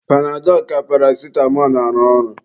Panadọlụ ka paracitamọ arụ ọrụ.